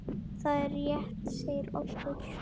Það er rétt segir Oddur.